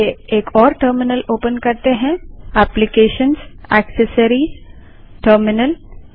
चलिए एक और टर्मिनल ओपन करते हैं application gt accessories gt terminal